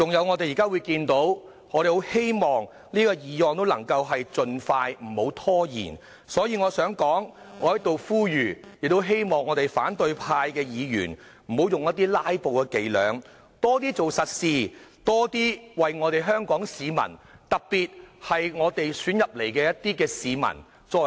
我希望這項決議案能夠盡快通過，不要拖延，因此我在此呼籲反對派的議員不要再用"拉布"的伎倆，多為香港市民做實事，特別是為選我們進入立法會的市民做事。